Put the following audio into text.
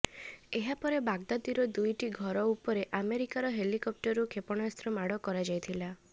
ଏହାପରେ ବଗ୍ଦାଦିର ଦୁଇଟି ଘର ଉପରକୁ ଆମେରିକାର ହେଲିକପ୍ଟରରୁ କ୍ଷେପଣାସ୍ତ୍ର ମାଡ଼ କରାଯାଇଥିଲା